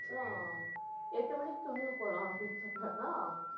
அப்புறம், எட்டு மணிக்கு துணிவு போலாம் அப்படின்னு சொன்னானா,